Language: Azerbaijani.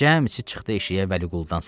Cəmisi çıxdı eşiyə Vəliquldan savayı.